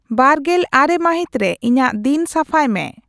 ᱒᱙ ᱢᱟᱹᱦᱤᱛ ᱨᱮ ᱤᱧᱟᱹᱜ ᱫᱤᱱ ᱥᱟᱯᱷᱟᱭ ᱢᱮ